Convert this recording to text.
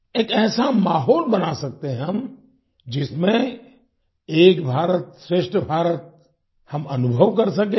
एक ऐसा माहौल बना सकते हैं हम जिसमें एक भारतश्रेष्ठ भारत हम अनुभव कर सकेंगे